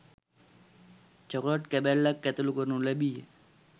Chocolate කැබැල්ලක් ඇතුළු කරනු ලැබීය.